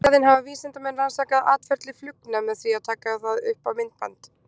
Í staðinn hafa vísindamenn rannsakað atferli flugna með því að taka það upp á myndband.